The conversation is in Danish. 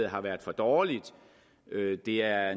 har været for dårligt det er